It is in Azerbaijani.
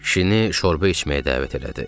Kişini şorba içməyə dəvət elədi.